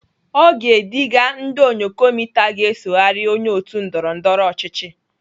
O ga-ediga ndị ònyòkomità ga-esoghari onye otu ndọrọndọrọ ọchịchị.